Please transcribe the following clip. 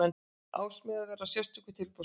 Ársmiðar verða á sérstöku tilboðsverði.